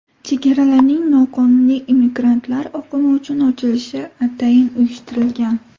Chegaralarning noqonuniy immigrantlar oqimi uchun ochilishi atayin uyushtirilgan.